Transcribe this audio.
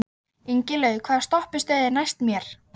Ingilaug, hvaða stoppistöð er næst mér?